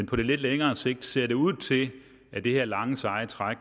på lidt længere sigt ser det ud til at det her lange seje træk